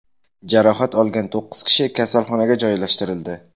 Jarohat olgan to‘qqiz kishi kasalxonaga joylashtirildi.